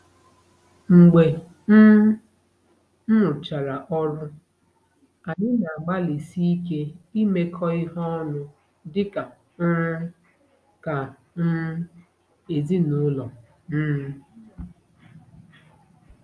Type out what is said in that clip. Mgbe um m rụchara ọrụ, anyị na-agbalịsi ike imekọ ihe ọnụ dị ka um ka um ezinụlọ. um